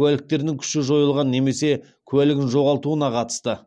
куәліктерінің күші жойылған немесе куәлігін жоғалтуына қатысты